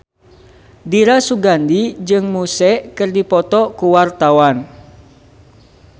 Dira Sugandi jeung Muse keur dipoto ku wartawan